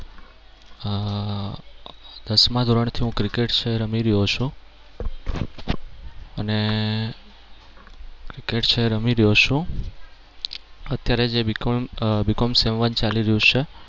અને cricket છે એ રમી રહ્યો છું. અત્યારે જે BCOMsem one ચાલી રહ્યું છે